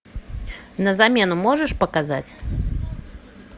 на замену можешь показать